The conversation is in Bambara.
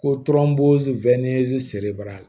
Ko